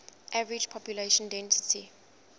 average population density